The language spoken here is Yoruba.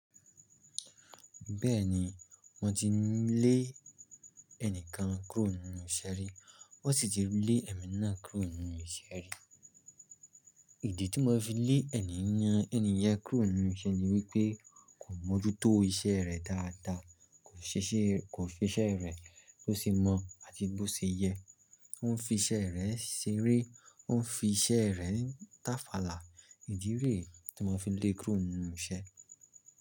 Bẹ́ẹ̀ni wọ́n ti n lé ẹnìkan kúrò nínú iṣẹ́ rí, wọ́n sì ti lé ẹ̀mí náà kúrò nínú iṣẹ́ rí. Ìdí tí mọ́ fi lé ẹnì yan ẹni yẹn kúrò nínú iṣẹ́ ni wípé kò mọ́jútó iṣẹ́ rẹ̀ dáadáa, kò ṣe iṣẹ́ rẹ̀ ko ṣe iṣẹ rẹ bó ṣe mọ̀ àti bó ṣe yẹ. Ó ń fi iṣẹ́ rẹ̀ ṣeré, ó ń fi iṣẹ́ rẹ̀ táfàlà. Ìdí re tí mọ́ fi lé kúrò nínú iṣẹ́.